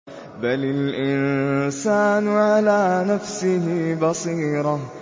بَلِ الْإِنسَانُ عَلَىٰ نَفْسِهِ بَصِيرَةٌ